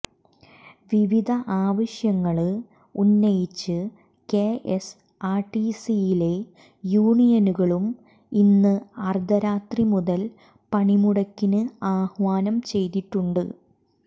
വിവിധ ആവശ്യങ്ങള് ഉന്നയിച്ച് കെഎസ്ആർടിസിയിലെ യൂണിയനുകളും ഇന്ന് അർദ്ധരാത്രി മുതൽ പണിമുടക്കിന് ആഹ്വാനം ചെയ്തിട്ടുണ്ട്